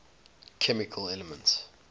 chemical elements